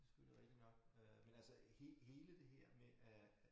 Det selvfølgelig rigtigt nok øh men altså hele det her med at